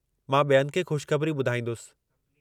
मां ॿियनि खे ख़ुशख़बरी ॿुधाईंदुसि!